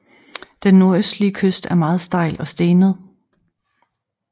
Den nordøstlige kyst er meget stejl og stenet